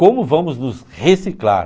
Como vamos nos reciclar?